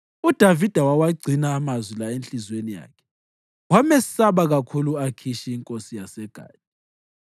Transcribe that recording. UDavida wawagcina amazwi la enhliziyweni yakhe wamesaba kakhulu u-Akhishi inkosi yaseGathi.